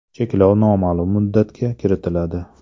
Cheklov noma’lum muddatga kiritiladi.